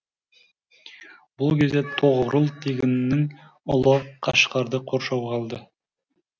бұл кезде тоғрұл тегіннің ұлы қашқарды қоршауға алды